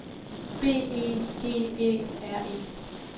B E G Æ R E